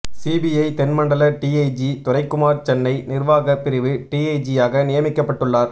CBI தென் மண்டல டிஐஜிதுரைக்குமார் சென்னை நிர்வாக பிரிவு டிஐஜியாக நியமிக்கப்பட்டுள்ளார்